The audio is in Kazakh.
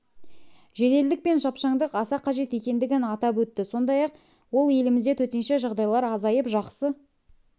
жеделдік пен шапшаңдық аса қажет екендігін атап өтті сондай-ақ ол елімізде төтенше жағдайлар азайып жақсы